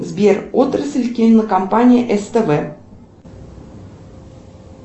сбер отрасль кинокомпании ств